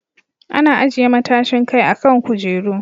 Ana ajiye matashin kai a kan kujeru.